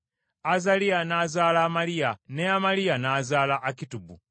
Azaliya n’azaala Amaliya, ne Amaliya n’azaala Akitubu;